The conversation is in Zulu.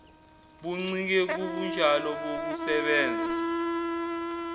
buncike kubunjalo bokusebenza